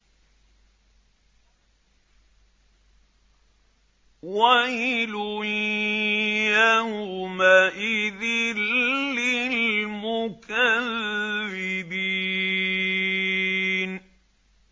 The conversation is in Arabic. وَيْلٌ يَوْمَئِذٍ لِّلْمُكَذِّبِينَ